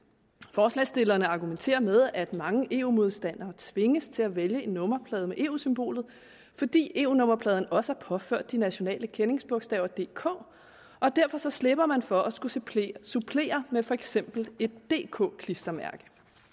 forslagsstillerne argumenterer med at mange eu modstandere tvinges til at vælge en nummerplade med eu symbolet fordi eu nummerpladen også er påført de nationale kendingsbogstaver dk og derfor slipper man for at skulle supplere supplere med for eksempel et dk klistermærke